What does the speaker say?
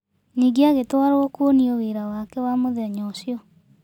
Nyingĩ agĩtwarwo kwonio wĩra wake wa mũthenya ũcio.